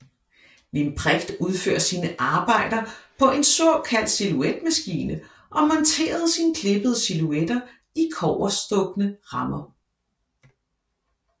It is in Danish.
Limprecht udførte sine arbejder på en såkaldt silhuetmaskine og monterede sine klippede silhuetter i kobberstukne rammer